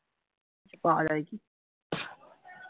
পাওয়া যায় কি